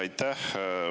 Aitäh!